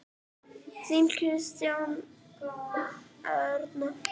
Þín Kristín Arna.